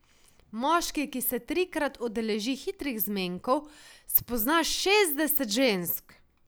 Moški, ki se trikrat udeleži hitrih zmenkov, spozna šestdeset žensk.